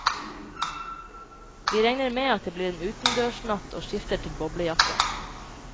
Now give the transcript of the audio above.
Vi regner med at det blir en utendørs natt og skifter til boblejakker.